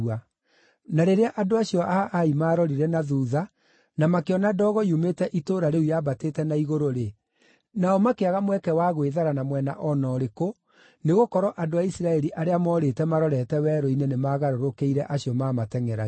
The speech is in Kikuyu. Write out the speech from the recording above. Na rĩrĩa andũ acio a Ai maarorire na thuutha na makĩona ndogo yumĩte itũũra rĩu yambatĩte na igũrũ-rĩ, nao makĩaga mweke wa gwĩthara na mwena o na ũrĩkũ, nĩgũkorwo andũ a Isiraeli arĩa morĩte marorete werũ-inĩ nĩmagarũrũkĩire acio maamatengʼeragia.